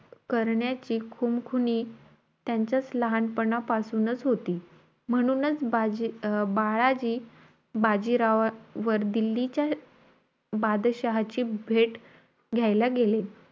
करण्याची खुमखुनी त्यांच्यात लहानपणापासूनचं होती. म्हणूनचं बाजी बाळाजी बाजीरावावर दिल्लीच्या बादशाहची भेट घायला गेले.